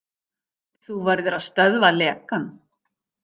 Þú verður að stöðva lekann.